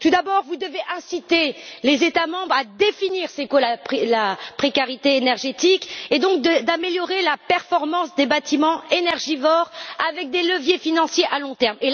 Tout d'abord, vous devez inciter les États membres à définir ce qu'est la précarité énergétique, et donc à améliorer la performance des bâtiments énergivores, avec des leviers financiers à long terme.